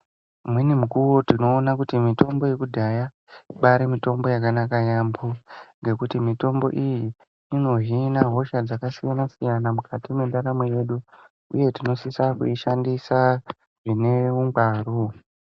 Nedzimweni mukuwo tinoona kuti mitombo dzekudhaya ibaari mitombo dzakanaka yaamho ngekuti mitombo iyi inohina hosha dzakasiyana siyana mukati mwendaramo yedu uye tinosisa kuishandisa zvine ungwaru.